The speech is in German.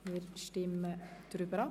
Wir stimmen ab.